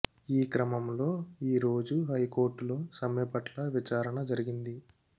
ఈ క్రమంలో ఈరోజు హైకోర్టు లో సమ్మె పట్ల విచారణ జరిగింది